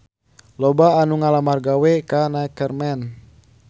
Loba anu ngalamar gawe ka Neckerman